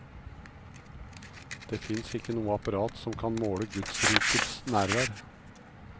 Det fins ikke noe apparat som kan måle gudsrikets nærvær.